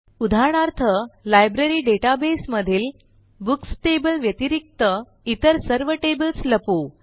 उदाहरणार्थ library database मधील books table व्यतिरिक्त इतर सर्व टेबल लपवू